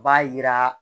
B'a yira